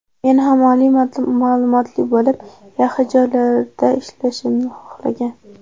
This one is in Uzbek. Meni ham oliy ma’lumotli bo‘lib, yaxshi joylarda ishlashimni xohlagan.